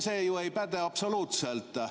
See ju ei päde absoluutselt.